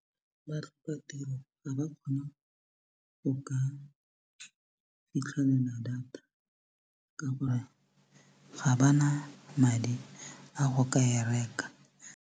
Batlhokatiro ga ba kgone go ka fitlhelela data ka gore ga ba na madi a go ka e reka.